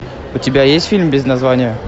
у тебя есть фильм без названия